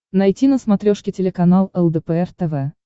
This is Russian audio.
найти на смотрешке телеканал лдпр тв